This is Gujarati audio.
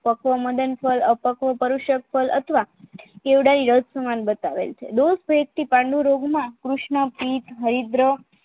પકોમદન ફળ અપકોપરુષદ અથવા કેવડા ઈ રહ્શ્યમય બતાવેલ છે લોકપિત્ત થી પાંડુરોગના કૃષ્ણ પ્રીત હરિદ્ર